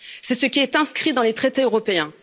C'est ce qui est inscrit dans les traités européens.